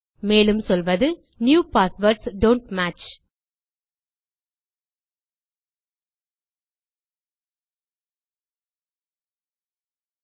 மேலும்சொல்வது new passwords don't match